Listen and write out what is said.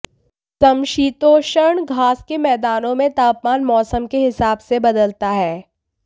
समशीतोष्ण घास के मैदानों में तापमान मौसम के हिसाब से बदलता है